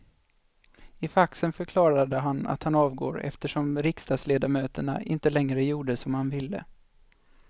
I faxen förklarar han att han avgår eftersom riksdagsledamöterna inte längre gjorde som han ville.